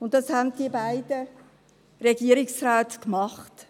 Und das haben die beiden Regierungsräte gemacht.